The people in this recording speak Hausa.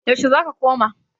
yaushe za ka koma?